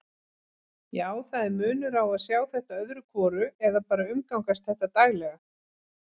Já, það er munur á að sjá þetta öðru hvoru eða bara umgangast þetta daglega.